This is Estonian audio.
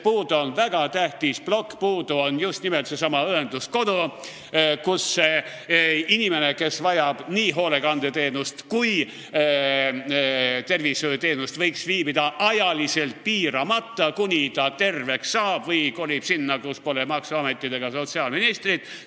Puudu on väga tähtis plokk, just nimelt seesama õenduskodu, kus inimene, kes vajab nii hoolekandeteenust kui ka tervishoiuteenust, võiks viibida ajaliselt piiramata, kuni ta terveks saab või kolib sinna, kus pole maksuametit ega sotsiaalministrit.